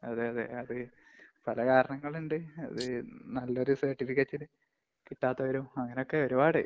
അതെയതെ. അത് പല കാരണങ്ങളുണ്ട്. അത് നല്ല ഒരു സര്‍ട്ടിഫിക്കറ്റ് കിട്ടാത്തവരും, അങ്ങനൊക്കെ ഒരുപാട്.